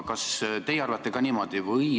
Kas te arvate ka niimoodi?